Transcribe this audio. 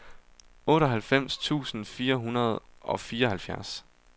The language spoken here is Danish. otteoghalvfems tusind fire hundrede og fireoghalvfjerds